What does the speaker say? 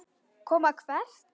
Koma hvert?